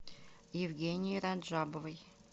евгении раджабовой